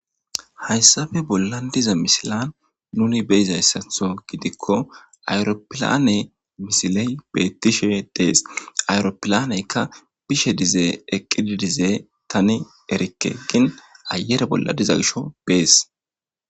hayssabe bolla diza misilan nuni beizayssatho gidikko ayropilane misiley bettishe dees ayropilaneykka bishe dize eqqididize tani erikke gin ayere bolla diza gisho bees